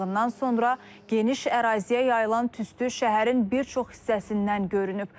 Yanğından sonra geniş əraziyə yayılan tüstü şəhərin bir çox hissəsindən görünüb.